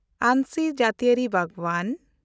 ᱟᱱᱥᱤ ᱡᱟᱹᱛᱤᱭᱟᱹᱨᱤ ᱵᱟᱜᱽᱣᱟᱱ